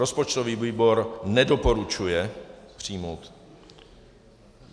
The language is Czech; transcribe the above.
Rozpočtový výbor nedoporučuje přijmout.